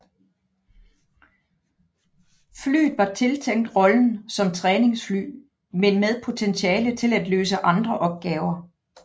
Flyet var tiltænkt rollen som træningsfly men med potentiale til at løse andre opgaver